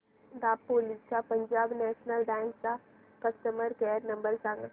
दापोली च्या Punjab national bank चा customer care number सांग